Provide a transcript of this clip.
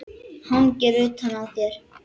Hangir utan á þér!